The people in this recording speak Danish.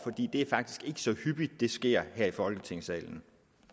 det er faktisk ikke så hyppigt det sker her i folketingssalen